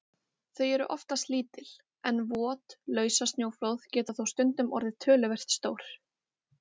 Þau eru oftast lítil, en vot lausasnjóflóð geta þó stundum orðið töluvert stór.